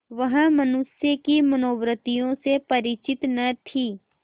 वह मनुष्य की मनोवृत्तियों से परिचित न थी